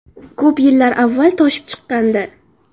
Ko‘p yillar avval toshib chiqqandi.